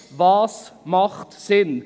Was macht Sinn?